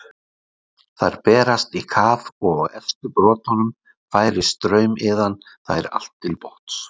Þær berast í kaf, og á efstu brotunum færir straumiðan þær allt til botns.